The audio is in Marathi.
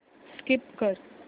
स्कीप कर